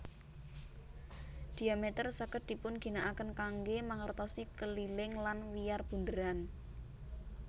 Dhiameter saged dipunginakaken kanggé mangertosi keliling lan wiyar bunderan